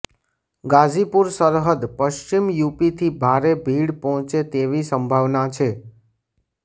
ગાઝીપુર સરહદ પશ્ચિમ યુપીથી ભારે ભીડ પહોંચે તેવી સંભાવના છે